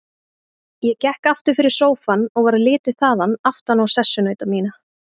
Ég gekk aftur fyrir sófann og varð litið þaðan aftan á sessunauta mína.